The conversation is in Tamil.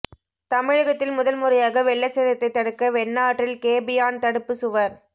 தமிழகத்தில் முதல் முறையாக வெள்ள சேதத்தை தடுக்க வெண்ணாற்றில் கேபியான் தடுப்புச் சுவர்